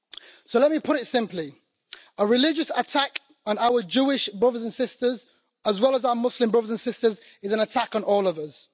So let me put it simply a religious attack on our Jewish brothers and sisters, as well as our Muslim brothers and sisters, is an attack on all of us.